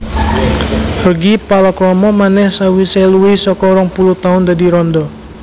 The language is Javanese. Reggy palakrama manèh sawisé luwih saka rong puluh taun dadi randha